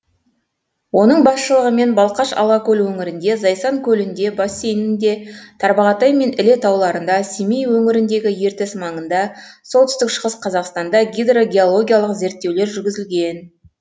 оның басшылығымен балқаш алакөл өңірінде зайсан көлінде бассейнінде тарбағатай мен іле тауларында семей өңіріндегі ертіс маңында солтүстік шығыс қазақстанда гидрогеологиялық зерттеулер жүргізілген